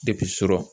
sɔrɔ